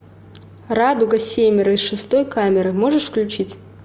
радуга семеро из шестой камеры можешь включить